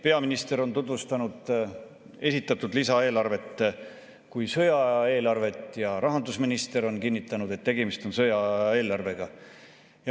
Peaminister on tutvustanud esitatud lisaeelarvet kui sõjaaja eelarvet ja rahandusminister on kinnitanud, et tegemist on sõjaaja eelarvega.